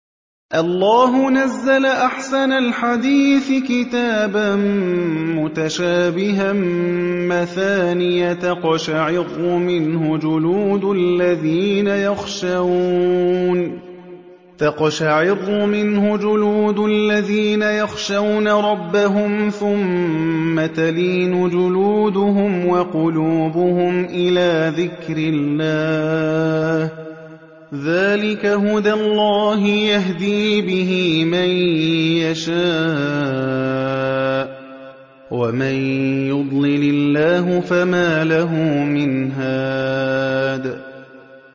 اللَّهُ نَزَّلَ أَحْسَنَ الْحَدِيثِ كِتَابًا مُّتَشَابِهًا مَّثَانِيَ تَقْشَعِرُّ مِنْهُ جُلُودُ الَّذِينَ يَخْشَوْنَ رَبَّهُمْ ثُمَّ تَلِينُ جُلُودُهُمْ وَقُلُوبُهُمْ إِلَىٰ ذِكْرِ اللَّهِ ۚ ذَٰلِكَ هُدَى اللَّهِ يَهْدِي بِهِ مَن يَشَاءُ ۚ وَمَن يُضْلِلِ اللَّهُ فَمَا لَهُ مِنْ هَادٍ